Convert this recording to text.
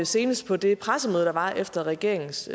senest på det pressemøde der var efter regeringens